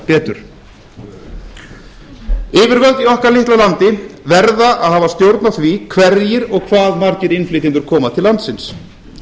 betur yfirvöld í okkar litla landi verða að hafa stjórn á því hverjir og hvað margir innflytjendur koma til landsins